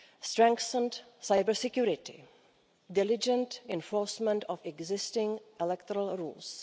strengthened cybersecurity diligent enforcement of existing electoral rules